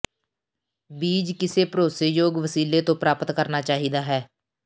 ਬੀਜ ਕਿਸੇ ਭਰੋਸੇਯੋਗ ਵਸੀਲੇ ਤੋਂ ਪ੍ਰਾਪਤ ਕਰਨਾ ਚਾਹੀਦਾ ਹੈ